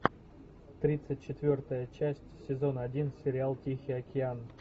тридцать четвертая часть сезон один сериал тихий океан